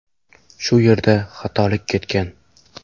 Shu yerda xatolik ketgan”.